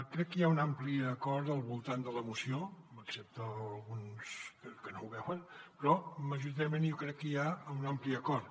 crec que hi ha un ampli acord al voltant de la moció excepte alguns que no ho veuen però majoritàriament jo crec que hi ha un ampli acord